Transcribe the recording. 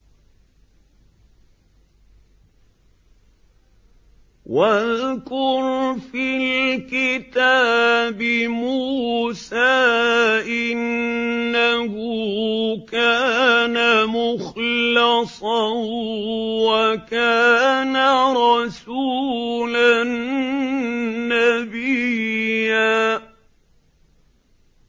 وَاذْكُرْ فِي الْكِتَابِ مُوسَىٰ ۚ إِنَّهُ كَانَ مُخْلَصًا وَكَانَ رَسُولًا نَّبِيًّا